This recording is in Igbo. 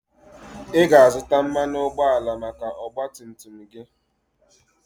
Ị ga-azụta mmanụ ụgbọala maka ọgba tum tum gị?